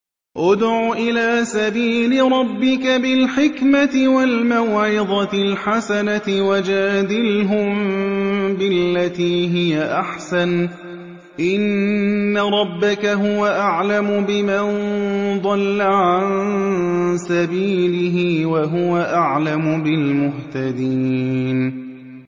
ادْعُ إِلَىٰ سَبِيلِ رَبِّكَ بِالْحِكْمَةِ وَالْمَوْعِظَةِ الْحَسَنَةِ ۖ وَجَادِلْهُم بِالَّتِي هِيَ أَحْسَنُ ۚ إِنَّ رَبَّكَ هُوَ أَعْلَمُ بِمَن ضَلَّ عَن سَبِيلِهِ ۖ وَهُوَ أَعْلَمُ بِالْمُهْتَدِينَ